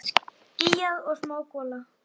Skýjað og smá gola.